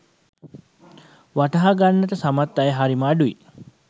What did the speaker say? වටහා ගන්නට සමත් අය හරිම අඩුයි.